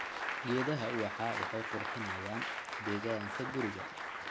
Geedaha ubaxa waxay qurxinayaan deegaanka guriga.